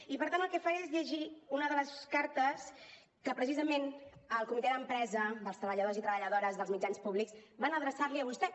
i per tant el que faré és llegir una de les cartes que precisament el comitè d’empresa dels treballadors i treballadores dels mitjans públics van adreçar li a vostè